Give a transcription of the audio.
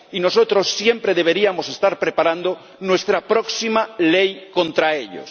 Y nosotros siempre deberíamos estar preparando nuestra próxima ley contra ellos.